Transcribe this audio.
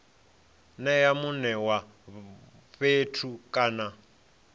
nea mune wa fhethu kana